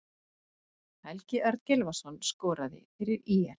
Helgi Örn Gylfason skoraði fyrir ÍR.